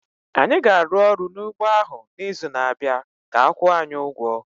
Anyị ga-arụ ọrụ n'ugbọ ahụ n'izu na-abịa ka a kwụọ anyị ụgwọ